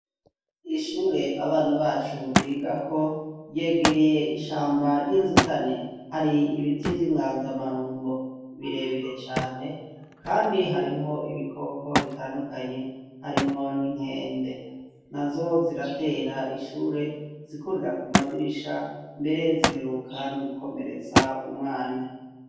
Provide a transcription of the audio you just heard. Ishure abana bacu biga ko yegereye ishamba ry'inzutane hari ibiti vy'inganzamarumbo birebire cane, kandi harimwo ibikoko bitandukanye harimwo ninkende nazo ziratera ishure zikurira ku madirisha mbere ziheruba ka niugukomeretsa umwana.